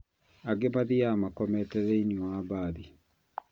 Angĩ mathiaga makomete thĩinĩ wa mbathi